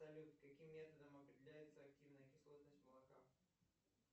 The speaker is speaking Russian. салют каким методом определяется активная кислотность молока